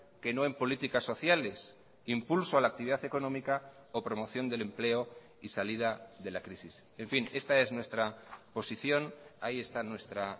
que no en políticas sociales impulso a la actividad económica o promoción del empleo y salida de la crisis en fin esta es nuestra posición ahí está nuestra